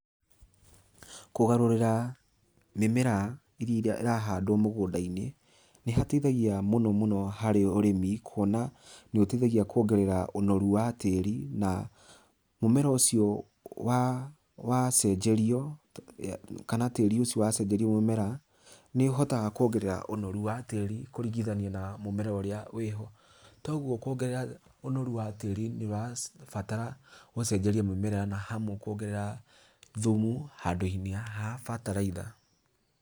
Kũgarũrĩra, mĩmera ĩrĩa ĩrahandwo mũgũnda-inĩ, nĩ hateithagia mũno mũno harĩ ũrĩmi kuona nĩ ũteithagia kuongerera ũnoru wa tĩri, na mũmera ũcio wacenjerio, kana tĩri ũcio wacenjerio mũmera, nĩũhotaga kuongerera ũnoru wa tĩri kũringithania na mũmera ũrĩa wĩho, toguo kuongerera ũnoru wa tĩri nĩũrabatara gũcenjeria mũmera na hamwe kuongerera thumu handũ-inĩ ha bataraitha.